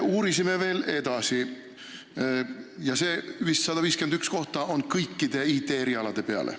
Need 151 kohta on vist kõikide IT-erialade peale.